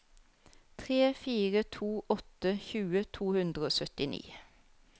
tre fire to åtte tjue to hundre og syttini